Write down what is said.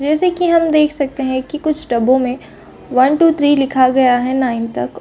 जैसे की हम देख सकते है की कुछ डब्बो मे वन टू थ्री लिखा गया है नाइन तक --